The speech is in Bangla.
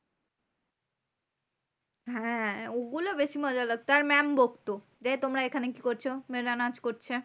হ্যাঁ ওগুলো বেশি মজা লাগতো আর mam বকতো যে, তোমরা এখানে কি করছো? মেয়েরা নাচ করছে।